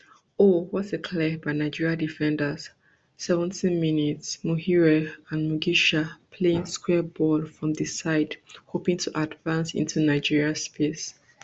oh what a clear by nigeria defenders seventymins muhire and mugisha playing square ball from di side hoping to advance into di nigeria space